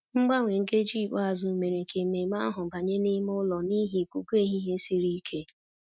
Mgbanwe nkeji ikpeazụ mere ka ememe ahụ banye n'ime ụlọ n'ihi ikuku ehihie siri ike